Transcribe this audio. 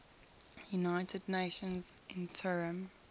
united nations interim